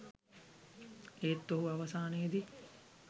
ඒත් ඔහු අවසානයේදී